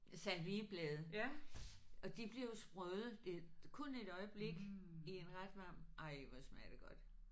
Salvieblade og de bliver jo sprøde det kun et øjeblik i en ret varm ej hvor smager det godt